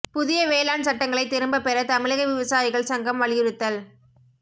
புதிய வேளாண் சட்டங்களைத் திரும்பப் பெற தமிழக விவசாயிகள் சங்கம் வலியுறுத்தல்